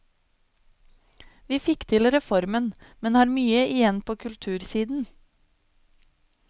Vi fikk til reformen, men har mye igjen på kultursiden.